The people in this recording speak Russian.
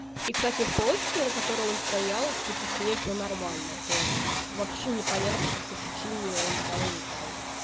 и кстати с полочкой на которой он стоял типа с ней всё нормально то есть вообще непонятно по какой причине он взял и упал